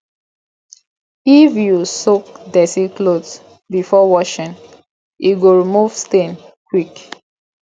if you soak dirty cloth before washing e go remove stain quick